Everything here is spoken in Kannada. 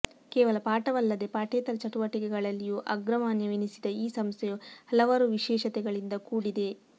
ಕೇವಲ ಪಾಠವಲ್ಲದೆ ಪಾಠೇತರ ಚಟುವಟಿಕೆಗಳಲ್ಲಿಯೂ ಅಗ್ರಮಾನ್ಯವೆನಿಸಿದ ಈ ಸಂಸ್ಥೆಯು ಹಲವಾರು ವಿಶೇಷತೆಗಳಿಂದ ಕೂಡಿದೆ